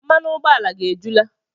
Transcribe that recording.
Mmanụ ụgbọala gị ejula?